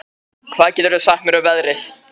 Margeir, hvað geturðu sagt mér um veðrið?